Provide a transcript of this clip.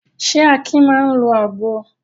Ṣé Akin máa ń lo àgbo?